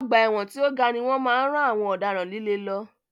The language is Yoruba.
Ọgbà ẹ̀wọ̀n tí o ga ni wọ́n máa ń rán àwọn ọ̀daràn líle lọ.